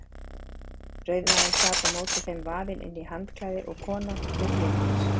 Rauðmaginn sat á móti þeim vafinn inn í handklæði og konan við hlið hans.